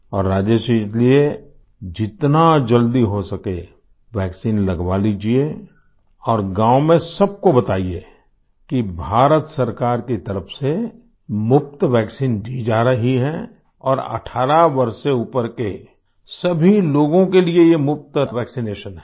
और राजेश जी इसलिए जितना जल्दी हो सके वैक्सीन लगवा लीजिये और गाँव में सबको बताइये कि भारत सरकार की तरफ से मुफ़्त वैक्सीन दी जा रही है और 18 वर्ष से ऊपर के सभी लोगों के लिए यह मुफ़्त वैक्सिनेशन है